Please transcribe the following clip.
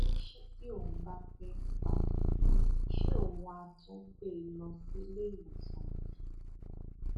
ó ní ṣe tí òun bá fẹẹ pa á ṣe òun àá tún gbé e lọ sílé ìwòsàn bí